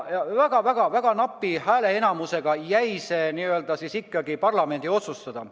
Väga napi häälteenamusega jäi see parlamendi otsustada.